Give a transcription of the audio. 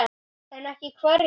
En ekki hverjir?